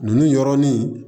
Ninnu yɔrɔnin